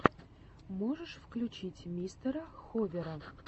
можешь включить мистера ховера